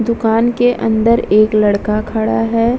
दुकान के अंदर एक लड़का खड़ा है ।